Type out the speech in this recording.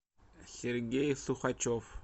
сергей сухачев